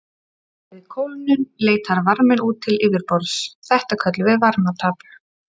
Við kólnun leitar varminn út til yfirborðs, þetta köllum við varmatap.